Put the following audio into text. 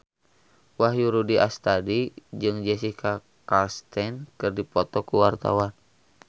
Wahyu Rudi Astadi jeung Jessica Chastain keur dipoto ku wartawan